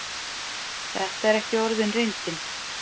Þetta er ekki orðin reyndin.